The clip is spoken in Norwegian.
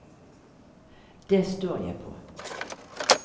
Det står jeg på!